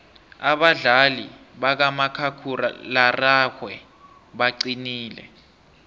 abadlali bakamakhakhulararhwe baqinile